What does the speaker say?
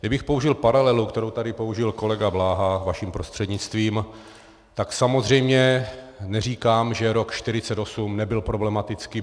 Kdybych použil paralelu, kterou tady použil kolega Bláha vaším prostřednictvím, tak samozřejmě neříkám, že rok 1948 nebyl problematický.